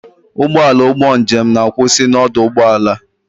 Ụgbọala ụgbọ njem na-akwụsị na ọdụ ụgbọ ala.